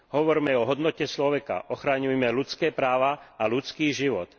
Hovorme o hodnote človeka, ochraňujme ľudské práva a ľudský život.